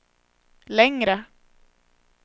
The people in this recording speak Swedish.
längre